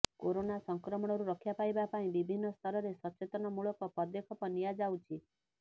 corona ସଂକ୍ରମଣରୁ ରକ୍ଷା ପାଇବା ପାଇଁ ବିଭିନ୍ନ ସ୍ତରରେ ସଚେତନମୂଳକ ପଦକ୍ଷେପ ନିଆଯଆଉଛି